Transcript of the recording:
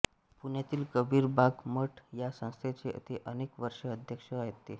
पुण्यातील कबीर बाग मठ या संस्थेचे ते अनेक वर्षे अध्यक्ष होते